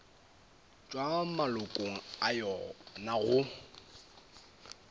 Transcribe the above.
tšwa malokong a yona go